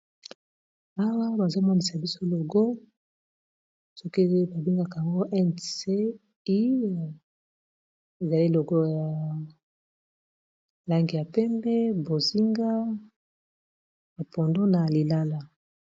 awa bazomonisa biso logo soki babengaka ngo nce ezali logo ya lange ya pembe bozinga apondo na lilala